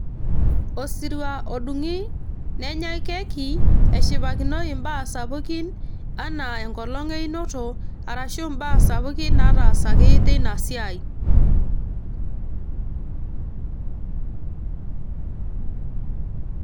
Osirua odungi nenyai keki eshipakinoi mbaa sapukin anaa enkolong einoto arashu mbaa sapukin naatasaki teina siai.